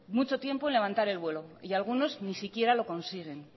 mucho tiempo en levantar el vuelo y algunos ni siquiera lo consiguen